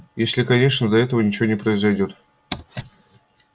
если конечно до этого ничего не произойдёт